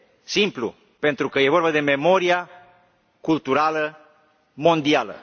Simplu pentru că este vorba de memoria culturală mondială.